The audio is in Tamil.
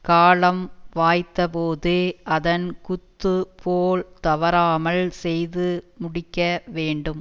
காலம் வாய்த்த போது அதன் குத்து போல் தவறாமல் செய்து முடிக்க வேண்டும்